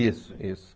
Isso, isso.